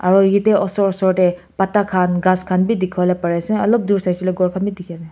Aro yate osor osor tey pata khan ghass khan bi dekhiwole pari ase ulop dur saishe koile ghor khan beh dekhi ase.